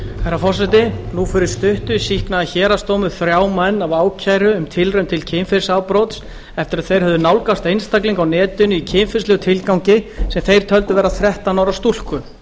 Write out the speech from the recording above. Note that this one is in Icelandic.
herra forseti nú fyrir stuttu sýknaði héraðsdómur þrjá menn af ákæru um tilraun til kynferðisafbrots eftir að þeir höfðu nálgast einstakling á netinu í kynferðislegum tilgangi sem þeir töldu vera þrettán ára stúlku